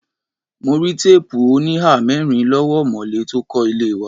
Mo rí teepu onihamerin lọ́wọ́ omole tó kó ilé wa.